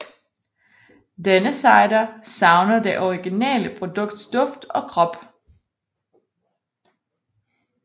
Denne cider savner det originale produkts duft og krop